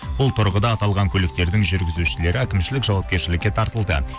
бұл тұрғыда аталған көліктердің жүргізушілері әкімшілік жауапкершілікке тартылды